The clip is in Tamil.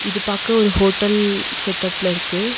இது பாக்க ஒரு ஹோட்டல் செட்டப்ல இருக்கு.